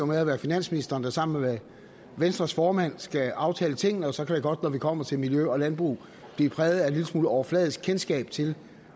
med at være finansministeren der sammen med venstres formand skal aftale tingene og så kan det godt når det kommer til miljø og landbrug blive præget af en lille smule overfladisk kendskab til